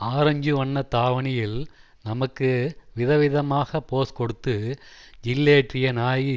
orange வண்ண தாவணியில் நமக்கு விதவிதமாக போஸ் கொடுத்து ஜில்லேற்றிய நாயகி